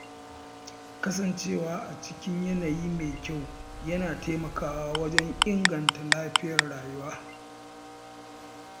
Kasancewa a cikin yanayi mai kyau yana taimakawa wajen inganta lafiyar zuciya.